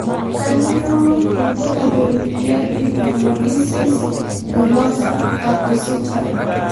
Kanyio ibulabul le Epidermolysis bullosa acquisita?